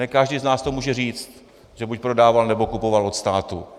Ne každý z nás to může říct, že buď prodával, nebo kupoval od státu.